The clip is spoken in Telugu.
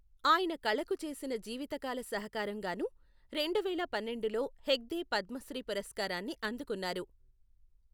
ఆయన కళకు చేసిన జీవితకాల సహకారం గాను రెండువేల పన్నెండులో హెగ్డే పద్మశ్రీ పురస్కారాన్ని అందుకున్నారు.